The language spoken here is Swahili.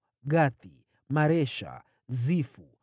Gathi, Maresha, Zifu,